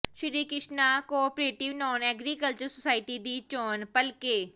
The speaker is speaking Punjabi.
ਸ੍ਰੀ Krishna cooperative non agriculture society ਦੀ ਚੋਣ ਭਲਕੇ